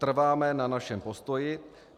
Trváme na našem postoji.